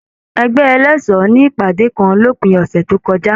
Ẹgbẹ ẹlẹṣọ ní ìpàdé kàn l'opin ọsẹ tó kọjá.